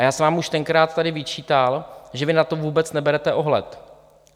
A já jsem vám už tenkrát tady vyčítal, že vy na to vůbec neberete ohled.